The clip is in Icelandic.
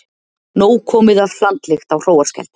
Nóg komið af hlandlykt á Hróarskeldu